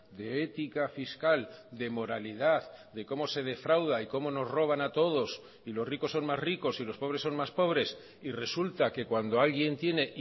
de ética fiscal de moralidad de cómo se defrauda y cómo nos roban a todos y los ricos son más ricos y los pobres son más pobres y resulta que cuando alguien tiene